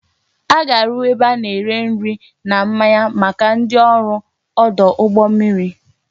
A ga-arụ ebe a na-ere nri na mmanya maka ndị ọrụ ọdụ ụgbọ mmiri